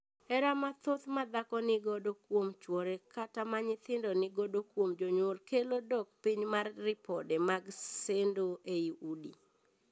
Hera mathoth ma dhako ni godo kuom chuore, kata ma nyithindo ni godo kuom jonyuol, kelo dok piny mar ripode mag sendo ei udi.